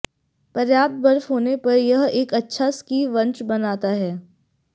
पर्याप्त बर्फ होने पर यह एक अच्छा स्की वंश बनाता है